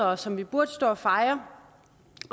og som vi burde stå og fejre